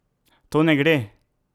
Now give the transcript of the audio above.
To ne gre!